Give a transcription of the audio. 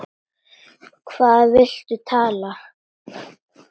Um hvað viltu tala?